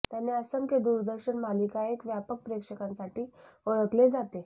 त्याने असंख्य दूरदर्शन मालिका एक व्यापक प्रेक्षकांसाठी ओळखले जाते